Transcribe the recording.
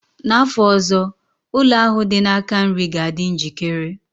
Na afọ ọzọ, ụlọ ahụ dị na aka nri ga-adị njikere?